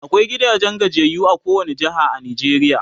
akwai gidajen gajiyayyu a kowani jeha a Najeriya